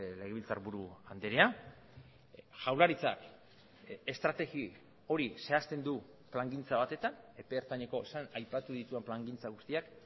legebiltzarburu andrea jaurlaritzak estrategia hori zehazten du plangintza batetan epe ertaineko aipatu ditudan plangintza guztiak